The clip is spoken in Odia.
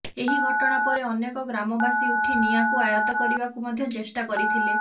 ଏହି ଘଟଣା ପରେ ଅନେକ ଗ୍ରାମବାସୀ ଉଠି ନିଆଁକୁ ଆୟତ କରିବାକୁ ମଧ୍ୟ ଚେଷ୍ଟା କରିଥିଲେ